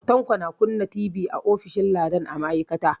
Tanko na kunna TV a ofishin Ladan a ma'aikata.